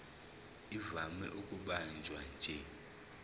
ivame ukubanjwa nje